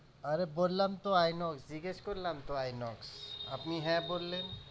আরে বললাম তো Inox জিজ্ঞেস করলাম তো Inox আপনি হ্যাঁ বললেন